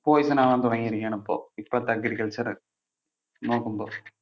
poison ആവാൻ തുടങ്ങിയിരിക്കയാണ് ഇപ്പൊ. ഇപ്പോഴത്തെ agriculture നോക്കുമ്പോൾ.